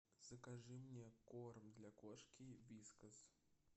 закажи мне корм для кошки вискас